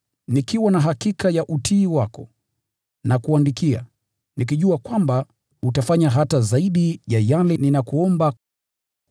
Nikiwa na hakika ya utii wako, nakuandikia, nikijua kwamba utafanya hata zaidi ya yale ninayokuomba.